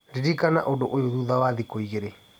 Ririkana ũndũ ũyũ thutha wa thikũ igĩrĩ